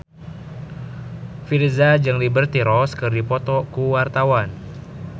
Virzha jeung Liberty Ross keur dipoto ku wartawan